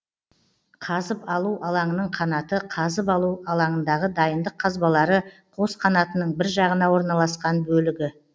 қазып алу алаңының қанаты қазып алу алаңындағы дайындық қазбалары қос қанатының біржағына орналасқан бөлігі